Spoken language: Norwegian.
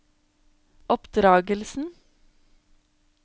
oppdragelsen